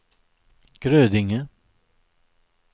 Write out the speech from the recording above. Grödinge